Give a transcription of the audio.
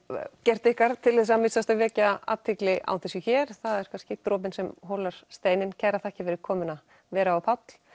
gert ykkar til þess að minnsta kosti að vekja athygli á þessu hér það er kannski dropinn sem holar steininn kærar þakkir fyrir komuna Vera og Páll